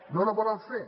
no la volen fer